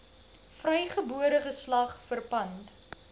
vrygebore geslag verpand